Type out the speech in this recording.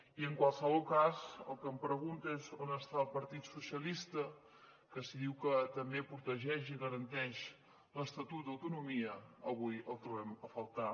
i en qualsevol cas el que em pregunto és on està el partit socialista que si diu que també protegeix i garanteix l’estatut d’autonomia avui el trobem a faltar